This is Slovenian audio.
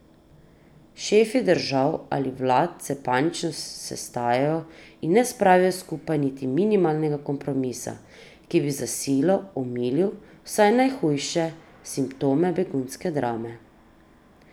Šefi držav ali vlad se panično sestajajo in ne spravijo skupaj niti minimalnega kompromisa, ki bi za silo omilil vsaj najhujše simptome begunske drame.